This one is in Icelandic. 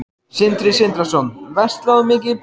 Sindri Sindrason: Verslar þú mikið í Bónus?